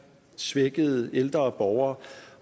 svækkede ældre borgere